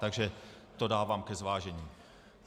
Takže to dávám ke zvážení.